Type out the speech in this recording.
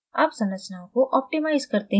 अब संरचनाओं को optimize करते हैं